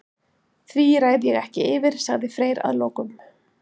Því ræð ég ekki yfir, sagði Freyr að lokum.